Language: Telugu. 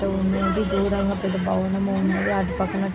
దూరంగా పెద్ద భవనము ఉన్నది. అటు పక్కన--